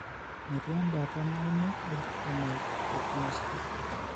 Metii embaata nauno enjuvenile retinoschisis.